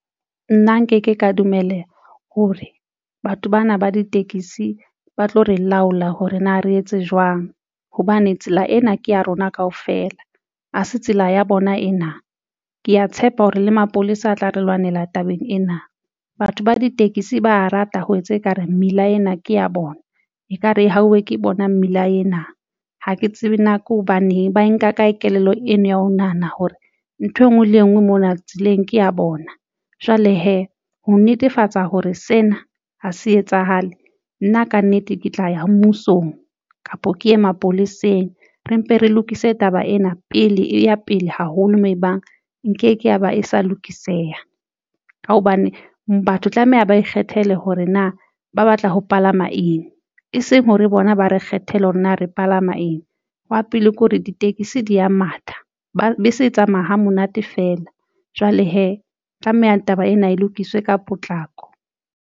Nna nke ke ka dumela hore batho bana ba ditekisi ba tlo re laola hore na re etse jwang hobane tsela ena ke ya rona kaofela ha se tsela ya bona ena. Ke ya tshepa hore le mapolesa a tla re lwanela tabeng ena. Batho ba ditekesi ba a rata ho etsa ekare mmila ena ke ya bona ekare e hauwe ke bonang mmila ena ha ke tsebe na ke hobaneng ba nka kae kelello eno ya ho nahana hore nthwe ngwe le engwe mona tseleng, ke ya bona jwale hee. Ho netefatsa hore sena ha se etsahale nna kannete ke tla ya mmusong kapo ke ye mapoleseng. Re mpe re lokise taba ena pele e ya pele haholo moo ebang nkeke ya ba e sa lokiseha ka hobane batho tlameha ba ikgethele hore na ba batla ho palama eng, e seng hore bona ba re kgethele hore na re palama eng. Wa pele ke hore ditekesi di ya matha. Bese e tsamaya hamonate feela jwale hee tlameha taba ena e lokiswe ka potlako.